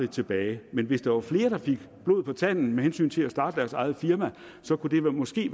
tilbage men hvis der var flere der fik blod på tanden med hensyn til det at starte deres eget firma så kunne det måske